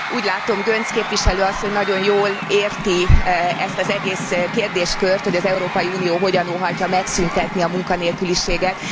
Úgy látom, Göncz képviselő asszony nagyon jól érti ezt az egész kérdéskört, hogy az Európai Unió hogyan óhajtja megszüntetni a munkanélküliséget.